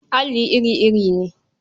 Alli iri-iri ne.